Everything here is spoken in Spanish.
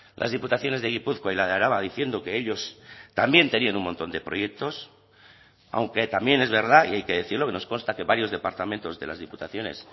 las diputaciones de gipuzkoa y la de araba diciendo que ellos también tenían un montón de proyectos aunque también es verdad y hay que decirlo que nos consta que varios departamentos de las diputaciones